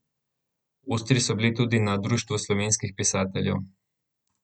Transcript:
Ostri so bili tudi pri Društvu slovenskih pisateljev.